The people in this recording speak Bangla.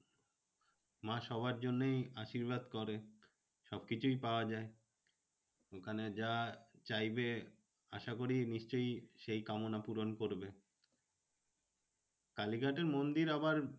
মা সবার জন্যই আশীর্বাদ করে। সবকিছুই পাওয়া যায়। ওখানে যা চাইবে আশাকরি নিশ্চই সেই কামনা পূরণ করবে। কালীঘাটের মন্দির আবার